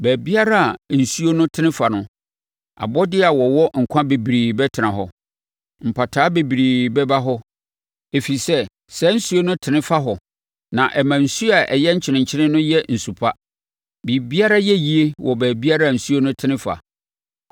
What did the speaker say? Baabiara a nsuo no tene fa no, abɔdeɛ a wɔwɔ nkwa bebree bɛtena hɔ. Mpataa bebree bɛba hɔ ɛfiri sɛ saa nsuo no tene fa hɔ na ɛma nsuo a ɛyɛ nkyenkyen no yɛ nsu pa; biribiara yɛ yie wɔ baabiara nsuo no tene fa.